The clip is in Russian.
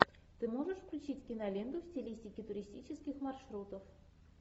ты можешь включить киноленту в стилистике туристических маршрутов